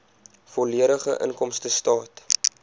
volledige inkomstestaat